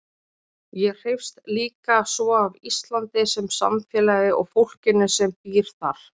Ég hreifst líka svo af Íslandi sem samfélagi og fólkinu sem býr þar.